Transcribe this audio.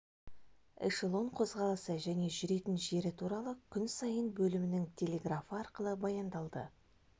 эшелон қозғалысы және жүретін жері туралы күн сайын бөлімінің телеграфы арқылы баяндалды